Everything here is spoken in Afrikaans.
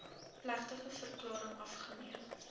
plegtige verklaring afgeneem